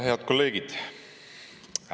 Head kolleegid!